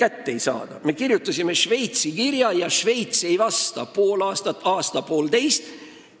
Näiteks, kui me kirjutame Šveitsile kirja, aga Šveits ei vasta meile pool aastat, aasta või poolteist.